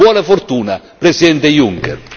Buona fortuna Presidente Juncker!